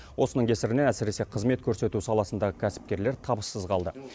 осының кесірінен әсіресе қызмет көрсету саласындағы кәсіпкерлер табыссыз қалды